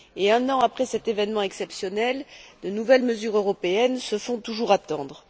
Un an après cet événement exceptionnel, de nouvelles mesures européennes se font toujours attendre.